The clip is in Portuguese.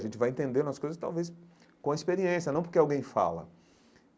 A gente vai entendendo as coisas, talvez, com a experiência, não porque alguém fala.